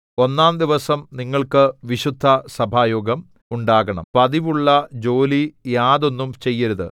ഒന്നാം ദിവസം നിങ്ങൾക്ക് വിശുദ്ധസഭായോഗം ഉണ്ടാകണം പതിവുള്ളജോലി യാതൊന്നും ചെയ്യരുത്